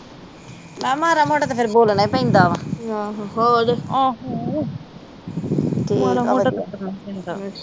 ਮੈ ਕਿਹਾ ਮਾੜਾ ਮੋਟਾ ਤੇ ਫਿਰ ਬੋਲਣਾ ਈ ਪੈਦਾ ਵਾ ਹੋਰ